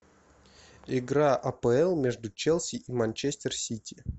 игра апл между челси и манчестер сити